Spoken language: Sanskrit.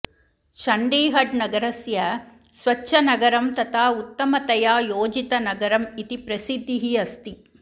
चण्डीगढनगरस्य स्वच्छनगरं तथा उत्तमतया योजितनगरम् इति प्रसिद्धिः अस्ति